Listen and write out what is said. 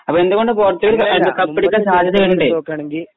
അപ്പൊ എന്തുകൊണ്ട് പോർച്ചുഗൽ കപ്പടിക്കാൻ സാദ്ത്യതയുണ്ട്